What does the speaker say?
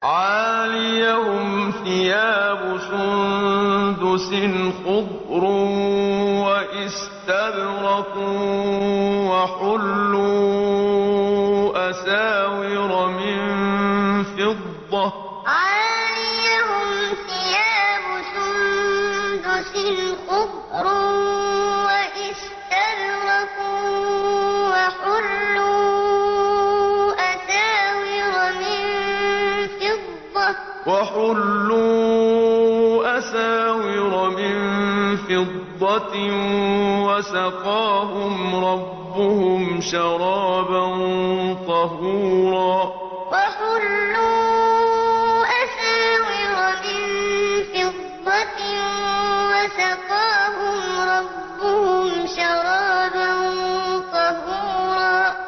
عَالِيَهُمْ ثِيَابُ سُندُسٍ خُضْرٌ وَإِسْتَبْرَقٌ ۖ وَحُلُّوا أَسَاوِرَ مِن فِضَّةٍ وَسَقَاهُمْ رَبُّهُمْ شَرَابًا طَهُورًا عَالِيَهُمْ ثِيَابُ سُندُسٍ خُضْرٌ وَإِسْتَبْرَقٌ ۖ وَحُلُّوا أَسَاوِرَ مِن فِضَّةٍ وَسَقَاهُمْ رَبُّهُمْ شَرَابًا طَهُورًا